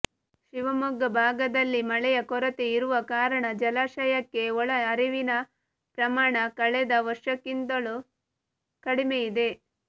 ಶಿವಮೊಗ್ಗ ಭಾಗದಲ್ಲಿ ಮಳೆಯ ಕೊರತೆ ಇರುವ ಕಾರಣ ಜಲಾಶಯಕ್ಕೆ ಒಳ ಹರಿವಿನ ಪ್ರಮಾಣ ಕಳೆದ ವರ್ಷಕ್ಕಿಂತಲೂ ಕಡಿಮೆಯಿದೆ